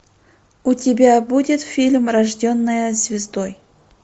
у тебя будет фильм рожденная звездой